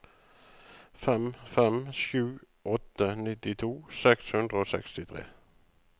fem fem sju åtte nittito seks hundre og sekstitre